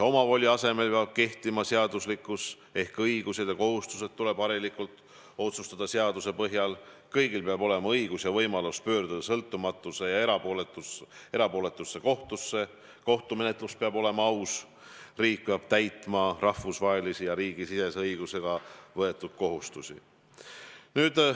Omavoli asemel peab kehtima seaduslikkus, õigused ja kohustused tuleb harilikult otsustada seaduse põhjal, kõigil peab olema õigus ja võimalus pöörduda sõltumatusse ja erapooletusse kohtusse, kohtumenetlus peab olema aus, riik peab täitma rahvusvahelise ja riigisisese õigusega võetud kohustusi.